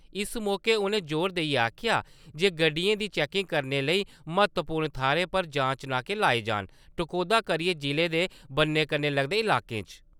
इस मौके उ`नें जोर देइयै आक्खेआ जे गड्डियें दी चेंकिंग करने लेई म्हत्तवपूर्ण थाह्‌रा पर जांच नाके लाए जान, टकोह्दा करिये जिले दे बन्ने कन्ने लगदे लाकें च।